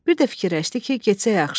Bir də fikirləşdi ki, getsə yaxşıdır.